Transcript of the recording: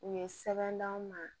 U ye sɛbɛn d'anw ma